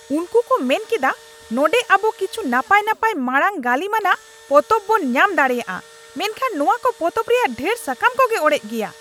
ᱩᱱᱠᱩ ᱠᱚ ᱢᱮᱱ ᱠᱮᱫᱟ, ᱱᱚᱰᱮᱸ ᱟᱵᱚ ᱠᱤᱪᱷᱩ ᱱᱟᱯᱟᱭ ᱱᱟᱯᱟᱭ ᱢᱟᱲᱟᱝ ᱜᱟᱹᱞᱤᱢᱟᱱᱟᱜ ᱯᱚᱛᱚᱵ ᱵᱚᱱ ᱧᱟᱢ ᱫᱟᱲᱮᱭᱟᱜᱼᱟ ᱢᱮᱱᱠᱷᱟᱱ ᱱᱚᱶᱟ ᱠᱚ ᱯᱚᱛᱚᱵ ᱨᱮᱭᱟᱜ ᱰᱷᱮᱨ ᱥᱟᱠᱟᱢ ᱠᱚᱜᱮ ᱚᱲᱮᱡ ᱜᱮᱭᱟ ᱾